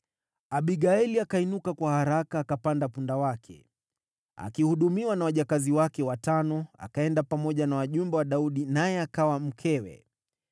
Abigaili akainuka kwa haraka, akapanda punda wake, akihudumiwa na wajakazi wake watano, akaenda pamoja na wajumbe wa Daudi, naye akawa mkewe.